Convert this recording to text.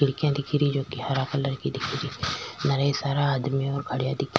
खिड़किया दिख री जो की हरा कलर की दिख री घड़ा सारा आदमी खड़ा दिख --